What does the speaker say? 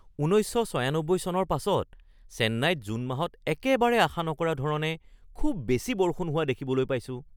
১৯৯৬ চনৰ পাছত চেন্নাইত জুন মাহত একেবাৰে আশা নকৰা ধৰণে খুব বেছি বৰষুণ হোৱা দেখিবলৈ পাইছোঁ